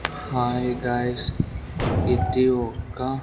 Hi guys ఇది ఒక్క.